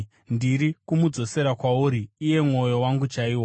Ndiri kumudzosera kwauri, iye mwoyo wangu chaiwo.